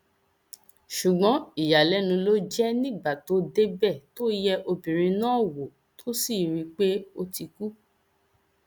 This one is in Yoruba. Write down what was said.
ṣùgbọn ìyàlẹnu ló jẹ nígbà tó débẹ tó yẹ obìnrin náà wò tó sì rí i pé ó ti kú